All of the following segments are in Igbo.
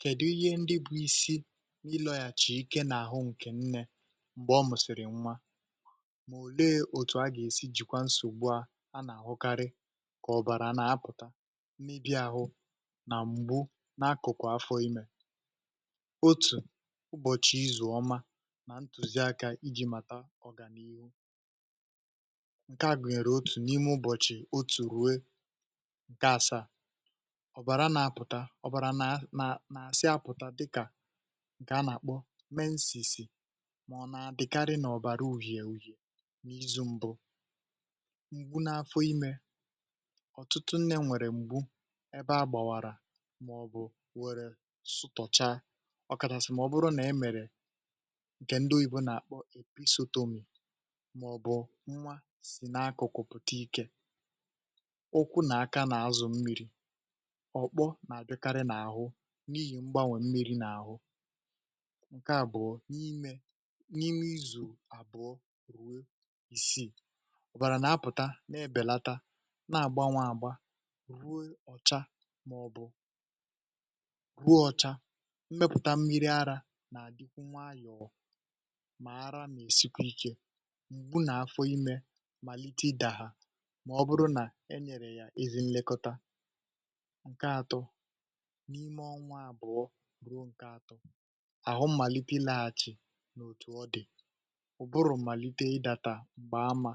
Kèdi ihe ndị bụ̇ isi nà ilọ̀yàchà ike n’àhụ ǹkè nnė m̀gbè ọ mụ̀sị̀rị̀ nwa mà òleė otù a gà-èsi jìkwa nsògbu a nà-àhụkarị kà ọ̀bàrà nà-apụ̀ta n’ibi àhụ nà m̀gbu nà akụ̀kụ̀ afọ̇ imė. Otù ụbọ̀chị̀ izùọma nà ntụ̀ziaka iji̇ mata ọ̀ga n’ihu ǹkè a gùnyèrè otù n’ime ụbọ̀chị̀ otù ruo ǹkè asaa. Ọbara n’apụta ọbara na na nà-àsị apụ̀ta dịkà ǹkè a nà-àkpọ meensìsì mà ọ̀ nà-àdịkarị nà ọ̀bàrà uhìè uhìè n’izu̇ mbụ. Ngbu n’afọ imė: ọ̀tụtụ nne nwèrè m̀gbu ebe a gbàwàrà m’ọ̀bụ̀ wère sụ̀tọ̀cha ọkàchàsị̀ m’ọ̀bụ̀rụ nà e mèrè ǹkè ndị oyibo nà-àkpọ èpisotomì m’ọ̀bụ̀ nwa sì nà akụ̀kụ̀ pụ̀ta ikė, ụkwụ n’aka nà azụ mmi̇ri̇, ọkpọ n’adịkaarị n’ahụ n’ihì mgbanwè mmiri n’àhụ. Nke àbụọ, imė n’ime izù àbụọ ruo ìsìi, à ọ̀bàrà nà-apụ̀ta nà-èbèlata nà-àgbanwe àgba rue ọ̀cha màọ̀bụ̀ rue ọ̀cha mmẹpụ̀ta mmiri arȧ nà-àdịkwu nwayọ̀ọ mà ara nà-èsikwa ikė m̀gbù nà-afọ imė màlite ịdà ha mà ọbụrụ nà e nyèrè ya ezi nlekọta. Nke atọ, n’ime ọnwa abụọ bụrụ ǹke atọ, ahụ mmalite ịlaghachi n’òtù ọ dị, ụ̀bụrụ̀ malite ịdata m̀gbè ama,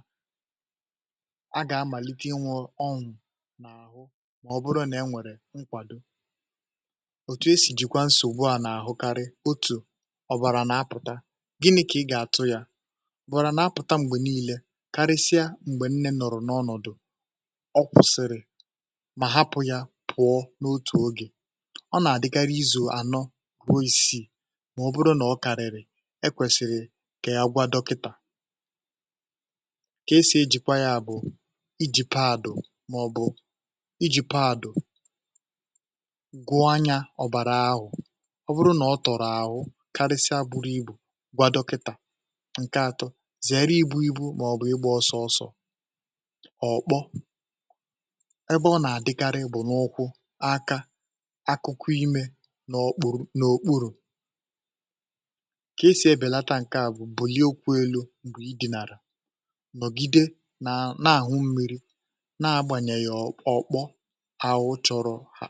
a gà-amàlite inwe ọnwụ̇ n’àhụ m’ọbụrụ nà e nwèrè nkwàdo. Otù esì jìkwaa nsògbu a n’àhụ karị, otù, ọ̀bàrà nà-apụ̀ta gịnị kà ị gà-àtụ yȧ? Ọbarọa nà-apụ̀ta m̀gbè niile karịsịa m̀gbè nne nọ̀rọ̀ n’ọnọ̀dụ̀ ọ kwụ̀sị̀rị̀ ma hapụ ya pụọ n’otu oge ọ nà-àdịgara izù ànọ ruo isiì m’ọ̀bụrụ nà ọ kàrị̀rị̀ ekwèsị̀rị̀ kà ya gwa dọkịtà kà e sì ejìkwa ya bụ̀ iji̇ paadụ màọ̀bụ̀ iji̇ paadụ gụọ anyȧ ọ̀bàrà ahụ̀, ọ bụrụ nà ọ tọ̀rọ̀ àhụ karịsịa buru ibù gwa dọkịtà. Nke atọ, zèrè ibu̇ ibu̇ m’ọ̀bụ̀ igbȧ ọsọọ̇ sọ̀ ọ̀kpọ ebe ọ nà-àdịgara ibu̇ n’ụkwụ̇, aka, akụkụ ime nà okpuru n’òkpurù kà esì ebèlata ǹke à bụ̀ bùlie ụkwụ elu̇ bu ịdị̇nàrà nọ̀gide na na àhụ mmiri̇ na agbànyè yà ọ̀ ọkpọ, ahụ chọ̀rọ̀ ha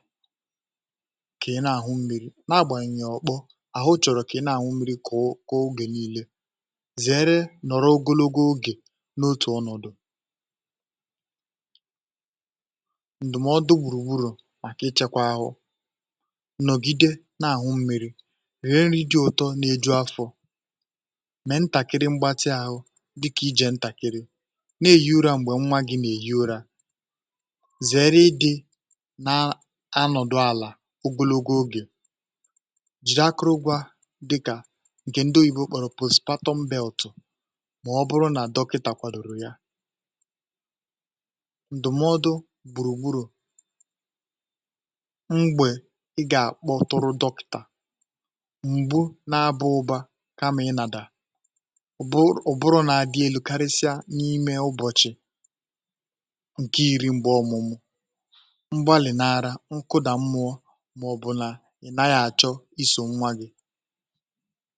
kà ị na àhụ mmiri̇ na agbànyèghị ọ̀kpọ̀ àhụ chọ̀rọ̀ kà ị na àhụ mmiri̇ kọ̀ o gè nii̇lė. Zèere nọ̀rọ ogologo ògè n’otù ọnọ̀dụ̀ Ndụmọdụ gburugburu maka ichekwa ahụ: Nọ̀gide na-àṅụ mmi̇ri̇, rie nri di̇ ụtọ nà-eju afọ̇, mèe ntàkiri mgbatị ȧhụ̇ dịkà ijė ntàkiri, na-ehi ụrȧ m̀gbè nwa gi̇ nà-ehi ụrȧ, zèrè ịdị̇ na-anọ̀dụ àlà ogologo ogè, jìde akụrụba dịkà ǹkè ndị oyìbo kpọ̀rọ̀ pospatọm beltụ m’ọbụrụ nà dọkịtà kwàdòro ya. Ndụmọdụ gburugburu: m̀gbe ị ga akpọtụrụ dọkịta, ngbu n’aba-ụba kamà ịnàdà ụbụrụ ụbụrụ n’dị elu̇ karịsịa n’ime ụbọ̀chị̀ ǹkẹ̀ iri m̀gbè ọ̀mụmụ, m̀gbalì nà arȧ, mkụdà mmụọ, mà ọ̀ bụ̀ nà ị̀ naghị̇ àchọ isò nwa gị̇